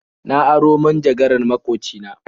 Na aro manjagaran maƙoci na.